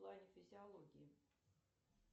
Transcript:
в плане физиологии